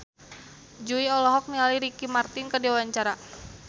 Jui olohok ningali Ricky Martin keur diwawancara